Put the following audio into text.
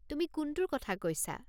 তুমি কোনটোৰ কথা কৈছা?